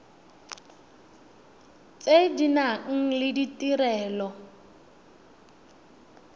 tse di nang le ditirelo